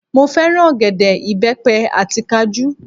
Mo fẹ́ràn ọ̀gẹ̀dẹ̀, ìbẹ́pẹ àti kajú